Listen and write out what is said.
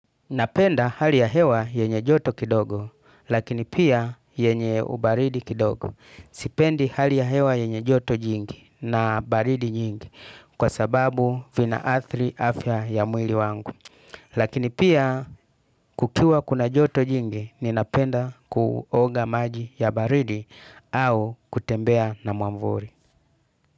Napenda hali yahewa yenye joto kidogo, lakini pia yenye ubaridi kidogo. Sipendi hali ya hewa yenye joto jingi na baridi nyingi, kwasababu vina athri afya ya mwili wangu. Lakini pia kukiwa kuna joto jingi, ninapenda kuoga maji ya baridi au kutembea na mwamvuri.